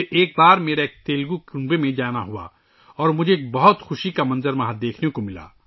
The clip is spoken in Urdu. ایک بار میں ایک تیلگو خاندان کے پاس گیا تو وہاں ایک بہت ہی خوشگوار منظر دیکھنے کو ملا